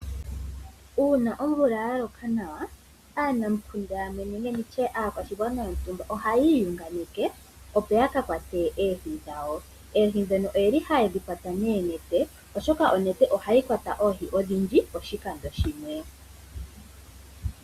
Uuna omvula ya loka nawa aanamukunda nenge nditye aanamukunda nenge aakwashigwana yontumba, ohaya iyunganeke opo ya ka kwate oohi dhawo. Oohi ndhono ohaye dhi kwata noonete oshoka onete ohayi kwata oohi odhindji poshikando shimwe.